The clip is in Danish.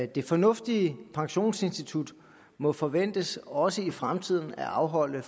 det fornuftige pensionsinstitut må forventes også i fremtiden at afholde